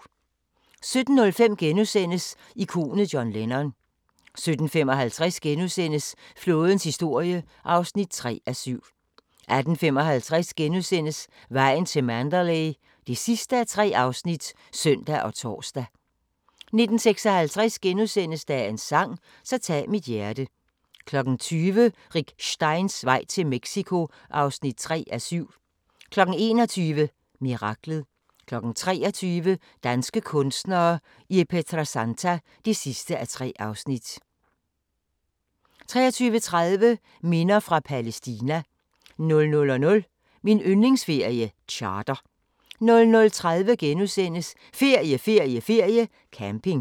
17:05: Ikonet John Lennon * 17:55: Flådens historie (3:7)* 18:55: Vejen til Mandalay (3:3)*(søn og tor) 19:56: Dagens sang: Så tag mit hjerte * 20:00: Rick Steins vej til Mexico (3:7) 21:00: Miraklet 23:00: Danske kunstnere i Pietrasanta (3:3) 23:30: Minder fra Palæstina 00:00: Min yndlingsferie: Charter 00:30: Ferie, ferie, ferie: Camping *